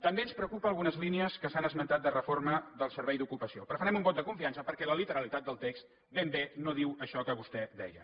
també ens preocupen algunes línies que s’han esmentat de reforma del servei d’ocupació però farem un vot de confiança perquè la literalitat del text ben bé no diu això que vostè deia